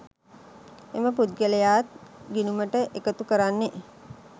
එම පුද්ගලයාත් ගිණුමට එකතු කරන්නේ